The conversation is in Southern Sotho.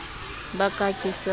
ba ka ha ke sa